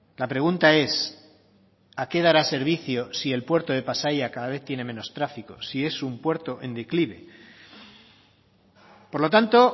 la pregunta es a qué dará servicios si el puerto de pasaia cada vez tiene menos tráfico si es un puerto en declive por lo tanto